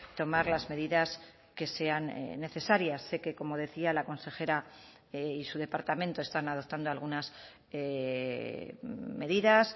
tomar las medidas que sean necesarias sé que como decía la consejera y su departamento están adoptando algunas medidas